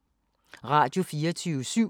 Radio24syv